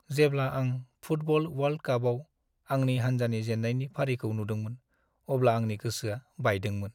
जेब्ला आं football world कापआव आंनि हान्जानि जेन्नायनि फारिखौ नुदोंमोन अब्ला आंनि गोसोआ बायदोंमोन।